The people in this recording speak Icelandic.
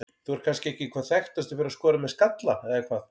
Þú ert kannski ekki hvað þekktastur fyrir að skora með skalla eða hvað?